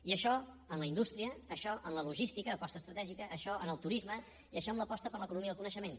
i això en la indústria això en la logística aposta estratègica això en el turisme i això en l’aposta per l’economia del coneixement